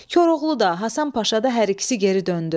Koroğlu da, Hasan Paşa da hər ikisi geri döndü.